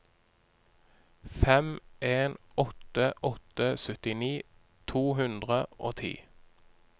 fem en åtte åtte syttini to hundre og ti